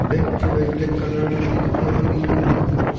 bag chuvai black colour table ding ma nganang kabley.